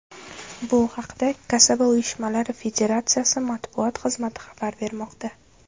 Bu haqda Kasaba uyushmalari Federatsiyasi matbuot xizmati xabar bermoqda .